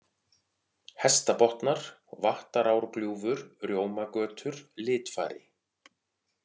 Hestabotnar, Vattarárgljúfur, Rjómagötur, Litfari